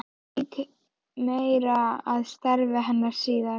Ég vík meira að starfi hennar síðar.